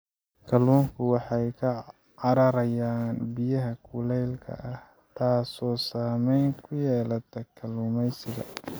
Kalluunku waxay ka cararayaan biyaha kuleylka ah, taasoo saameyn ku yeelata kalluumaysiga.